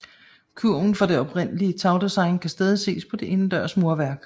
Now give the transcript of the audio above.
Kurven fra det oprindelige tagdesign kan stadig ses på det indendørs murværk